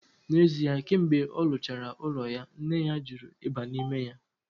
N'ezi kemgbe olu chara ulo ya, nne ya juru iba nime ya.